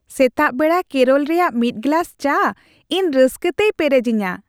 ᱥᱮᱛᱟᱜ ᱵᱮᱲᱟ ᱠᱮᱨᱚᱞ ᱨᱮᱭᱟᱜ ᱢᱤᱫ ᱜᱮᱞᱟᱥ ᱪᱟ ᱤᱧ ᱨᱟᱹᱥᱠᱟᱛᱮᱭ ᱯᱮᱨᱮᱡᱤᱧᱟ ᱾